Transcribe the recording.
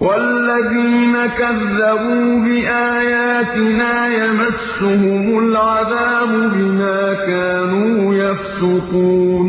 وَالَّذِينَ كَذَّبُوا بِآيَاتِنَا يَمَسُّهُمُ الْعَذَابُ بِمَا كَانُوا يَفْسُقُونَ